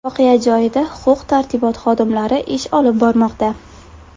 Voqea joyida huquq-tartibot xodimlari ish olib bormoqda.